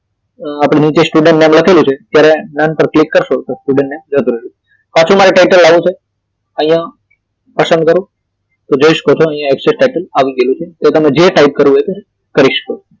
આપડે નીચે student નામ લખેલું છે ત્યારે નામ પર ક્લિક કરશો તો student નામ જતું રહ્યું પાછું મારે title લાવવું છે અહિયાં પસંદ કરો તો જોય શકો છો અહીયા XL title આવી ગયું છે તમારે જે ટાઇપ કરવું હોય તે કરી શકો